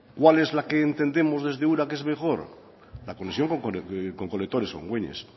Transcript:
cuál es la que entendemos desde ura que es mejor la conexión con colectores con güeñes